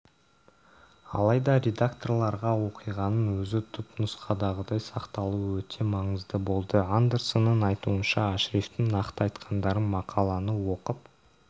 алайда редакторларға оқиғаның өзі түпнұсқадағыдай сақталуы өте маңызды болды андерсонның айтуынша ашрифтің нақты айтқандарын мақаланы оқып